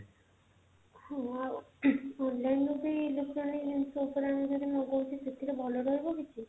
ମୁଁ online ରୁ ବି electronics ଜିନିଷ ଉପରେ ଆମେ ଯଦି ମଗଉଛେ ସେଥିରୁ ଭଲ ରହିବ କିଛି